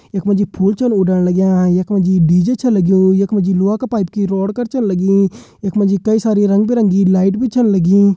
इक मजी फूल उडान अच्छा लगया इक मजी डी जे अच्छों लाग्यो ईक मजी लोहा के पाइप की रोड करचन लगी इक मजी कई सारी रंग-बी-रंगी लाइट भी अच्छन लगी।